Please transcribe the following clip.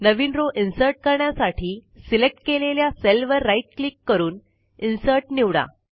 नवीन row insert करण्यासाठी select केलेल्या सेलवर राईट क्लिक करून इन्सर्ट निवडा